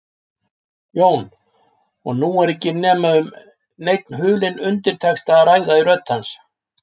Jón, og nú er ekki um neinn hulinn undirtexta að ræða í rödd hans.